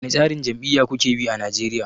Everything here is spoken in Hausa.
Wane tsarin jam'iyya kuke bi a Nigeria?